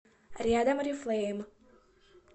рядом орифлейм